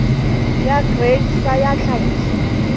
ya grain sa ya tlhahiso